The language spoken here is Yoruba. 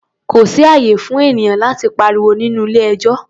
Kò sí ààyè fún ènìyàn láti pariwo ní ilé-ẹjọ́.